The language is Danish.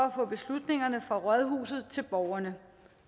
at få beslutningerne fra rådhuset ud til borgerne